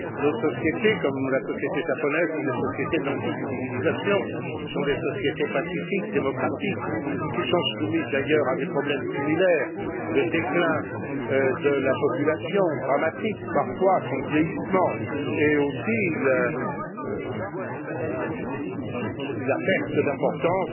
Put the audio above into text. Nos sociétés, comme la société japonaise, sont des sociétés d'antique civilisation, ce sont des sociétés pacifiques, démocratiques, qui sont soumises d'ailleurs à des problèmes similaires le déclin de la population, dramatique parfois, son vieillissement et aussi la perte d'importance